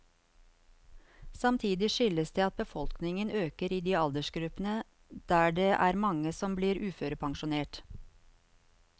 Samtidig skyldes det at befolkningen øker i de aldersgruppene der det er mange som blir uførepensjonert.